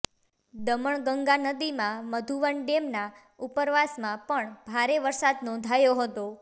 દમણગંગા નદીમાં મધુવન ડેમના ઉપરવાસમાં પણ ભારે વરસાદ નોંધાયો હતો